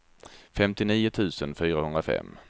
femtionio tusen fyrahundrafem